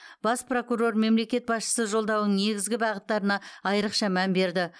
бас прокурор мемлекет басшысы жолдауының негізгі бағыттарына айрықша мән берді